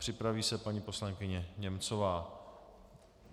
Připraví se paní poslankyně Němcová.